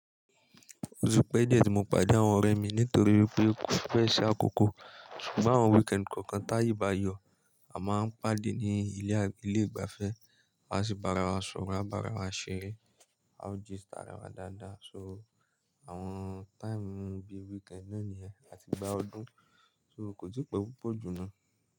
O ti pẹ́ díẹ̀ tí mo pàdé àwọn ọ̀rẹ́ mi nítorí pé kò fẹ́ ṣe àkókò. Ṣùgbọ́n àwọn weekend kọ̀ọ̀kan ti aye bá yọ, a máa ń pàdé ní ilé ìgbafẹ́, a sì bára wa sọ̀rọ̀, a bá ara wa ṣeré, a ó gist ara wa dáadáa. So, àwọn time bí weekend náà ni a ti gbá ọdún, so kò tí pẹ́ púpọ̀ jù náà.